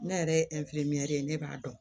Ne yɛrɛ ye ye ne b'a dɔn